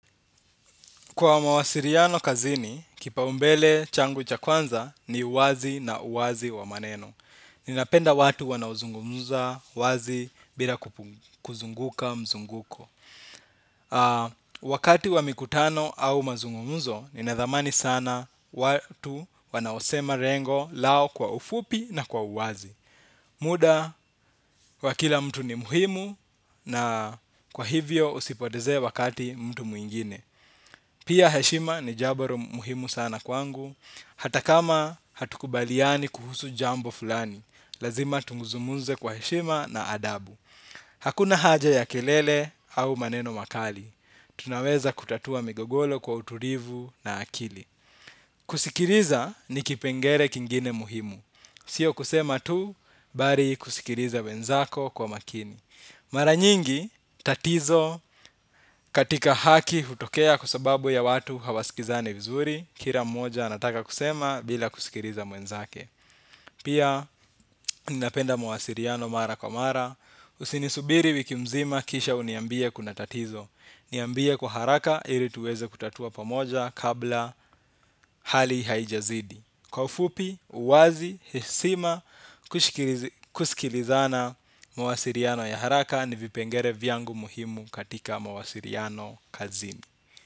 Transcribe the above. Kwa mawasiliano kazini, kipaumbele changu cha kwanza ni uwazi na uwazi wa maneno. Ninapenda watu wanaozungumuza, wazi, bila kuzunguka, mizunguko. Wakati wa mikutano au mazungumuzo, ninadhamani sana watu wanaosema lengo lao kwa ufupi na kwa wazi. Muda, kwa kila mtu ni muhimu, na kwa hivyo usipoteze wakati mtu mwingine. Pia heshima ni jambo muhimu sana kwangu, hata kama hatukubaliani kuhusu jambo fulani, lazima tunguzumuze kwa heshima na adabu. Hakuna haja ya kelele au maneno makali, tunaweza kutatua migogoro kwa utulivu na akili. Kusikiliza ni kipengele kingine muhimu, sio kusema tu, bali kusikiliza wenzako kwa makini. Mara nyingi tatizo katika haki hutokea, kusababu ya watu hawaskizane vizuri. Kila mmoja anataka kusema bila kusikiriza mwenzake. Pia ninapenda mwasiliano mara kwa mara. Usinisubiri wiki mzima kisha uniambie kuna tatizo. Niambie kwa haraka ili tuweze kutatua pamoja, kabla hali haijazidi. Kwa ufupi, uwazi, hishima, kusikilizana mwasiliano ya haraka ni vipengele vyangu muhimu katika mwasiliano kazini.